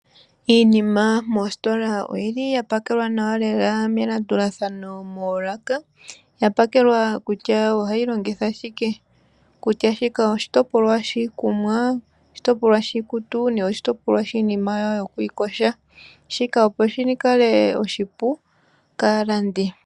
Iinima moositola oyili ya pakelwa nawa lela melandulathano moolaka, ya pakelwa kutya oha yi longithwa shike. Kutya shika oshitopolwa shiikunwa oshitopolwa shiikutu, oshitopolwa shiinima yokwiiyoga shika opo shi kale oshipu kaalandi.